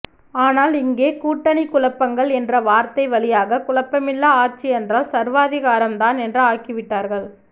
ஆனால் இங்கே கூட்டணிக்குழப்பங்கள் என்ற வார்த்தை வழியாக குழப்பமில்லா ஆட்சி என்றால் சர்வாதிகாரம்தான் என்று ஆக்கிவிட்டார்கள்